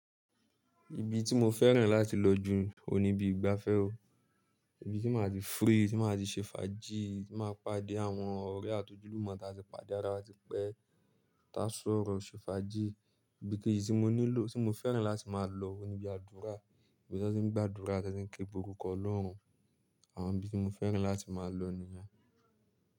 Ibi tí mo fẹ́ràn láti lọ jù n óun níbi ìgbafẹ́ o. Ibi tí máa ti free, tí máa ti ṣe fàájì, tí máa pàdé àwọn ọ̀rẹ́ àti ojúlùmọ̀ tí a ti pàdé árá wa, tí pẹ́, tí a sọ́rọ́, ṣe fàájì. Ibi kejì tí mo nílò, tí mo fẹ́ràn láti máa lọ ni ibi àdúrà. Ibi tí n ti ń gba àdúrà, tí n ti ń ké pe oruko Ọlọ́run. Àwọn ibi tí mo fẹ́ràn láti máa lọ ni ẹ.